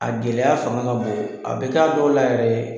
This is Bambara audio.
A gɛlɛya fanga ka bon, a bɛ k'a dɔw la yɛrɛ